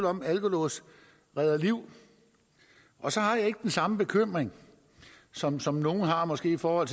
om at alkolåse redder liv og så har jeg ikke den samme bekymring som som nogle måske har for at